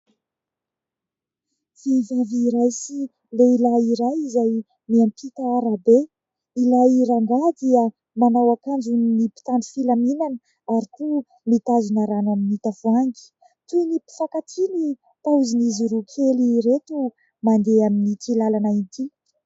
Vehivavy iray sy lehilahy iray izay miampita arabe, ilay rangahy dia manao akanjon'ny mpitandro filaminana ary koa mitazona rano amin'ny tavoahangy. Toy ny mpifankatia ny paozin'izy roa kely ireto, mandeha amin'ity lalana ity.